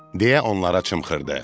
deyə onlara çımxırdı.